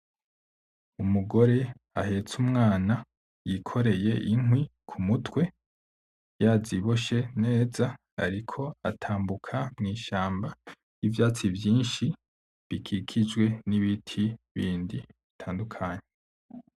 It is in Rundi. Umugore ahetse umwana, yikoreye inkwi ku mutwe yaziboshe neza, ariko atambuka mw'ishamba ivyatsi vyinshi bikikijwe n'ibiti bindi bitandukanye.